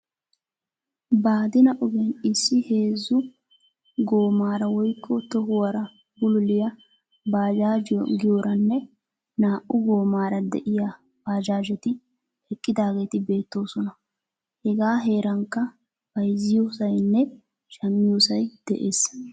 Baadina ogiyaan issi heezzu goommaara woykko tohuwaara bululiyaa bajaajiyoo giyooranne naa"u goommaara de'iyaa bajaajeti eqqidaageti beettoosona. hegaa herankka bayzziyoosaynne shammiyoosay de'ees.